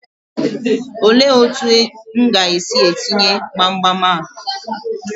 Olee otu m ga-esi etinye gbamgbam a?